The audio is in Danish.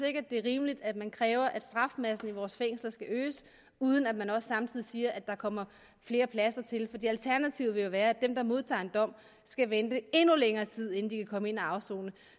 det er rimeligt at man kræver at strafmassen i vores fængsler skal øges uden at man også samtidig siger at der kommer flere pladser til alternativet vil jo være at dem der modtager en dom skal vente endnu længere tid inden de kan komme ind at afsone og